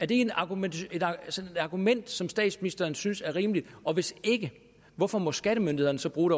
det et argument argument som statsministeren synes er rimeligt og hvis ikke hvorfor må skattemyndighederne så bruge